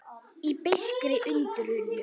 Í beiskri undrun.